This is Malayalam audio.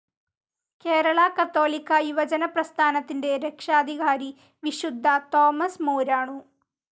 കേരള കത്തോലിക്കാ യുവജന പ്രസ്ഥാനത്തിൻ്റെ രക്ഷാധികാരി വിശുദ്ധ തോമസ് മൂരാണൂ.